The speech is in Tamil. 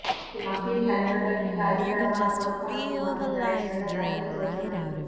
இது மக்களின் தலைவர்கள் மிக அதிகளவான பொறுப்புணர்வு மற்றும் தலைசிறந்த தலைமைத்துவத்துடன்